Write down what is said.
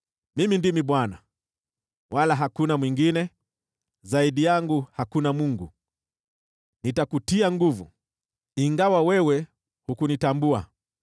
Mimi ndimi Bwana , wala hakuna mwingine, zaidi yangu hakuna Mungu. Nitakutia nguvu, ingawa wewe hujanitambua,